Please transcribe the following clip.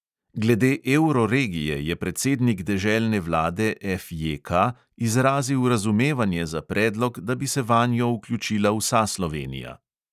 Glede evroregije je predsednik deželne vlade FJK izrazil razumevanje za predlog, da bi se vanjo vključila vsa slovenija.